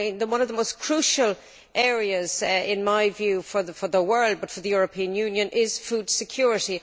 One of the most crucial areas, in my view, for the world and also for the European Union, is food security.